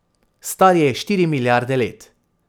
Star je štiri milijarde let.